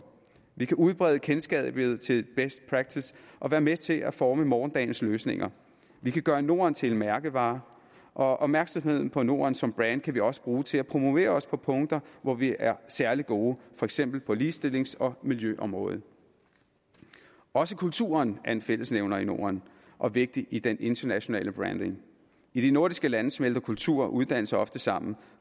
vi kan udbrede kendskabet til best practice og være med til at forme morgendagens løsninger vi kan gøre norden til en mærkevare og opmærksomheden på norden som brand kan vi også bruge til at promovere os på punkter hvor vi er særlig gode for eksempel på ligestillings og miljøområdet også kulturen er en fællesnævner i norden og vigtig i den internationale branding i de nordiske lande smelter kultur og uddannelse ofte sammen